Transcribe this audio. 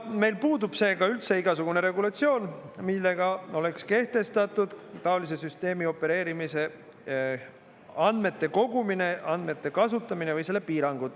Meil puudub seega üldse igasugune regulatsioon, millega oleks kehtestatud taolise süsteemi opereerimise andmete kogumine, andmete kasutamine või selle piirangud.